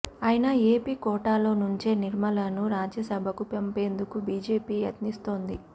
అయినా ఏపీ కోటాలో నుంచే నిర్మలను రాజ్యసభకు పంపేందుకు బీజేపీ యత్నిస్తోంది